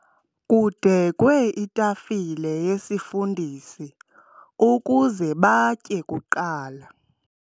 Kudekwe itafile yesifundisi ukuze batye kuqala.